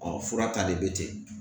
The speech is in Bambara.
Ɔ fura tali bɛ ten